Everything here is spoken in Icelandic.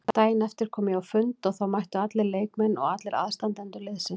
Daginn eftir kom ég á fund og þá mættu allir leikmenn og allir aðstandendur liðsins.